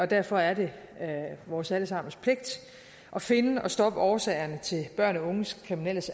derfor er det vores alle sammens pligt at finde og stoppe årsagerne til børn og unges kriminelle